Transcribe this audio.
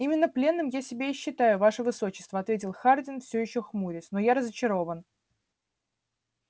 именно пленным я себя и считаю ваше высочество ответил хардин всё ещё хмурясь но я разочарован